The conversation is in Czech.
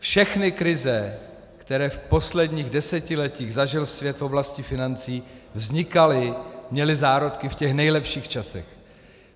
Všechny krize, které v posledních desetiletích zažil svět v oblasti financí, vznikaly, měly zárodky v těch nejlepších časech.